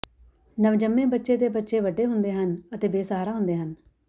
ਨਵਜੰਮੇ ਬੱਚੇ ਦੇ ਬੱਚੇ ਵੱਡੇ ਹੁੰਦੇ ਹਨ ਅਤੇ ਬੇਸਹਾਰਾ ਹੁੰਦੇ ਹਨ